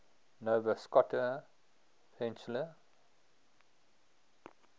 nova scotia peninsula